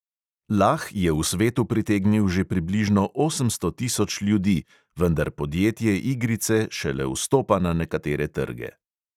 Lah je v svetu pritegnil že približno osemsto tisoč ljudi, vendar podjetje igrice šele vstopa na nekatere trge.